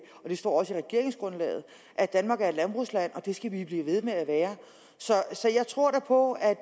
står også i regeringsgrundlaget at danmark er et landbrugsland og det skal vi blive ved med at være så jeg tror da på at